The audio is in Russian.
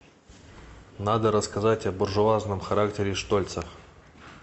надо рассказать о буржуазном характере штольца